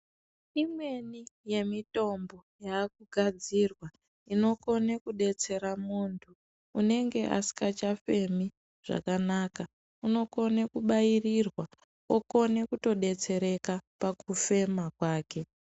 Imweni yemitombo yakugadzirwa inokone kudetsera muntu unenge asingachafemi zvakanaka , unokone kubairirwa okone kutodetsereka pakufema kwake.